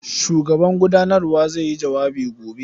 Shugaban gudanawar zai yi jawabi gobe.